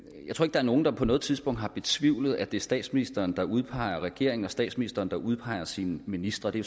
er nogen der på noget tidspunkt har betvivlet at det er statsministeren der udpeger regeringen og statsministeren der udpeger sine ministre det